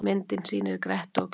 Myndin sýnir Gretti og Glám.